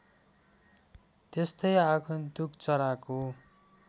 त्यस्तै आगन्तुक चराको